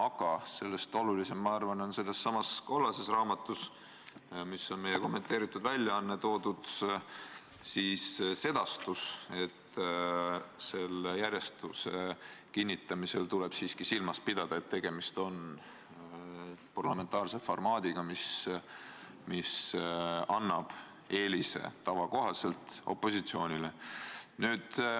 Aga ma arvan, et sellest olulisem on sellessamas kollases raamatus, meie kommenteeritud väljaandes toodud sedastus, et järjestuse kinnitamisel tuleb siiski silmas pidada, et tegemist on parlamentaarse formaadiga, mis tava kohaselt annab eelise opositsioonile.